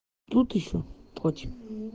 тут ещё против